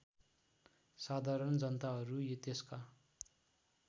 साधारण जनताहरू त्यसका